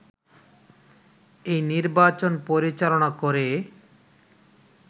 এই নির্বাচন পরিচালনা করে